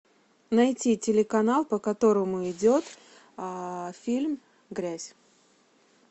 найти телеканал по которому идет фильм грязь